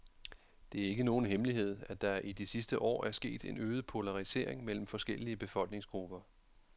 Det er ikke nogen hemmelighed, at der i de sidste år er sket en øget polarisering mellem forskellige befolkningsgrupper.